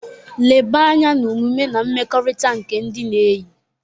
Leba anya na omume na mmekọrịta nke ndị na-eyi.